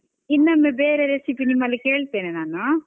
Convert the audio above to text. ಇನ್ನೊಮ್ಮೆ ಬೇರೆ recipe ನಿಮ್ಮಲ್ಲಿ ಕೇಳ್ತೇನೆ ನಾನು.